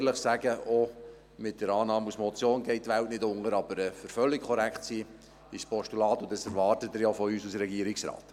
Auch mit einer Annahme als Motion geht die Welt nicht unter, aber um völlig korrekt zu sein, reicht ein Postulat, und dies erwarten Sie ja auch von uns als Regierungsrat.